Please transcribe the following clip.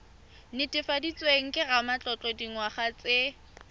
netefaditsweng ke ramatlotlo dingwaga tse